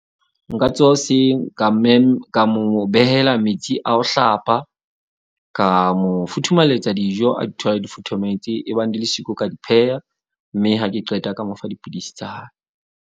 Nka tsoha hoseng ka ka mo behela metsi a ho hlapa. Ka mo futhumalletsa dijo a di thole, di futhumetse. Ebang di le siko, ka di pheha. Mme ha ke qeta ka mo fa dipidisi tsa hae.